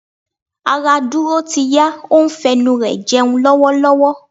Ará Dúró ti yá, ó ń fẹnu rẹ jẹun lọ́wọ́lọ́wọ́.